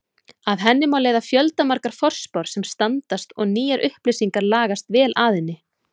Af henni má leiða fjöldamargar forspár sem standast og nýjar upplýsingar lagast vel að henni.